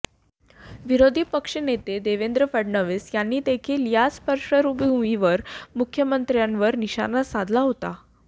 विरोधी पक्षनेते देवेंद्र फडणवीस यांनी देखील याच पार्श्वभूमीवर मुख्यमंत्र्यांवर निशाणा साधला होता